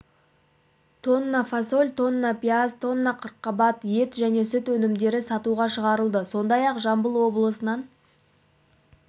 тонна фасоль тонна пияз тонна қырыққабат ет және сүт өнімдері сатуға шығарылды сондай-ақ жамбыл облысынан